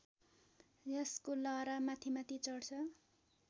यसको लहरा माथिमाथि चढ्छ